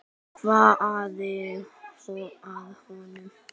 Hvað amaði að honum?